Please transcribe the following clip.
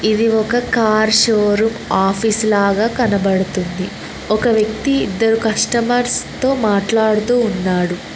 ఇది ఒక car showroom office లాగా కనబడుతుంది ఒక వ్యక్తి ఇద్దరు కష్టమర్స్ తో మాట్లాడుతూ ఉన్నాడు.